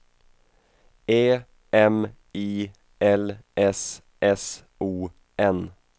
E M I L S S O N